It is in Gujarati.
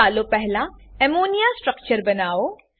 ચાલો પહેલા અમ્મોનિયા અમોનિયા સ્ટ્રક્ચર બનાવો